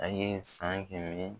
A ye san kɛmɛ ni